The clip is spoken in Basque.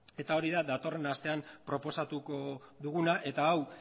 eta hori da datorren astean proposatuko duguna eta hau